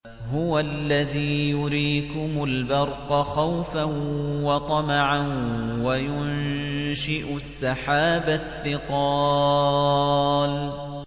هُوَ الَّذِي يُرِيكُمُ الْبَرْقَ خَوْفًا وَطَمَعًا وَيُنشِئُ السَّحَابَ الثِّقَالَ